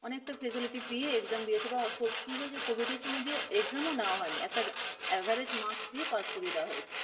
facility পেয়ে exam দিয়েছে বা কি হয়েছে covid এর সময় exam ও নেয়া হয়নি, একটা average marks দিয়ে pass করিয়ে দেওয়া হয়েছে।